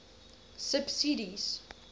subsidies